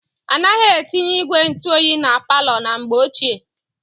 Anaghị etinye ígwè ntụoyi na palọ na mgbe ochie.